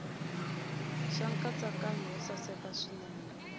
xa nkatsakanyo wo saseka swinene